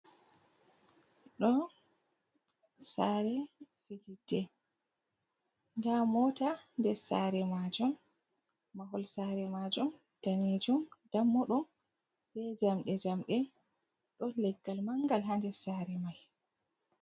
Ɗo sare fijidde nda mota nder sare majum mahol sare majum danejum dammuɗum be jamɗe-jamɗe ɗon leggal mangal ha nder sare mai.